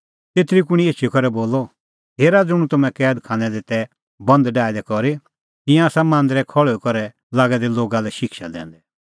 तेतरी कुंणी एछी करै बोलअ हेरा ज़ुंण तम्हैं कैद खानै दी तै बंद डाहै दै करी तिंयां आसा मांदरै खल़्हुई करै लागै दै लोगा लै शिक्षा दैंदै